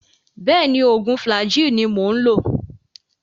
Bẹ́ẹ̀ni, oògùn Flagyl ni mo ń lò